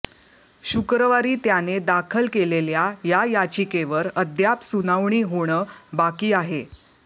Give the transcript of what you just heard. शुक्रवारी त्याने दाखल केलेल्या या याचिकेवर अद्याप सुनावणी होणं बाकी आहे